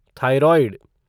thyroid